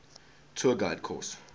tour guide course